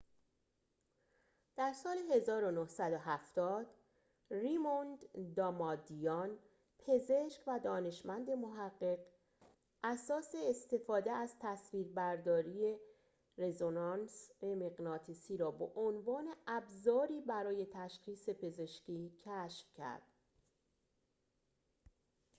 در سال ۱۹۷۰ ریموند دامادیان پزشک و دانشمند محقق اساس استفاده از تصویربرداری رزونانس مغناطیسی را به عنوان ابزاری برای تشخیص پزشکی کشف کرد